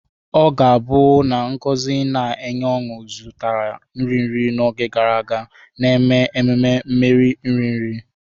Ọ ga-abụ na ngozi na-enye ọṅụ zutela nri nri n'oge gara aga, na-eme ememe mmeri nri nri.